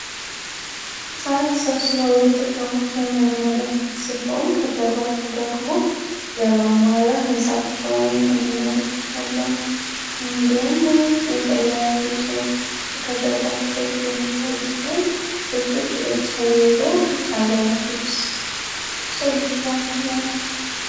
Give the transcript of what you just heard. ሀፃናት ተሰብስበው የተጫወች የምንመለከት ሲሆን ከጀርባቸው ደግሞ የመሟሪያ ሕንፃቸውን እንመለክትለን እንዲሆም ለዎች ከጀርባቸው የሚታዩ ሲሆን ጆቾች ጅለጅ ተየይዘው ቢች 1ዓይነት ልብሰው ለብሰዋል፡፡